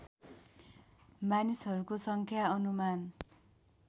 मानिसहरूको सङ्ख्या अनुमान